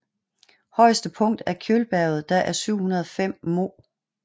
Højetse punkt er Kjølberget der er 705 moh